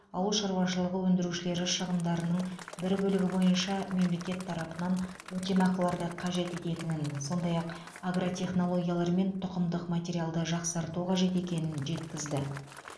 ауыл шаруашылығы өндірушілері шығындардың бір бөлігі бойынша мемлекет тарапынан өтемақыларды қажет ететінін сондай ақ агротехнологиялар мен тұқымдық материалды жақсарту қажет екенін жеткізді